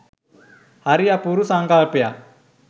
හරි අපූරු සංකල්පයක්.